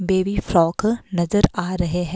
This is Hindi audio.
बेबी फ्रॉक नजर आ रहे हैं।